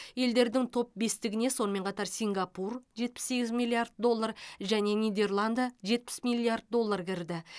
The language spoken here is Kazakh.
елдердің топ бестігіне сонымен қатар сингапур жетпіс сегіз миллиард доллар және нидерланды жетпіс миллиард доллар кірді